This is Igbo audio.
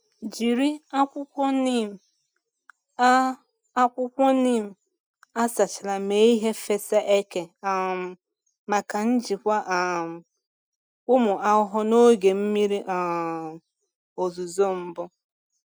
Jiri akwụkwọ neem a akwụkwọ neem a sachara mee ihe fesa eke um maka njikwa um ụmụ ahụhụ n’oge mmiri um ozuzo mbụ.